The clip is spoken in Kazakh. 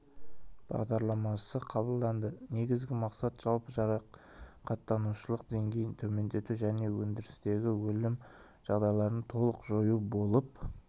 бағдарламасы қабылданды негізгі мақсат жалпы жарақаттанушылық деңгейін төмендету және өндірістегі өлім жағдайларын толық жою болып